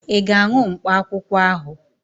Ị ga-aṅụ mkpakwụkwọ ahụ?